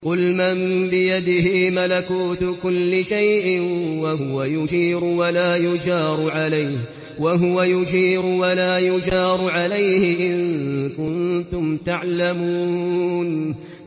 قُلْ مَن بِيَدِهِ مَلَكُوتُ كُلِّ شَيْءٍ وَهُوَ يُجِيرُ وَلَا يُجَارُ عَلَيْهِ إِن كُنتُمْ تَعْلَمُونَ